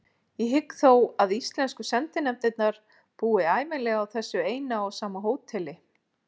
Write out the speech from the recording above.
Ég hygg þó að íslensku sendinefndirnar búi ævinlega á þessu eina og sama hóteli.